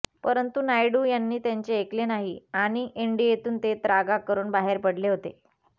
परंतु नायडू यांनी त्यांचे ऐकले नाही आणि एनडीएतून ते त्रागा करून बाहेर पडले होते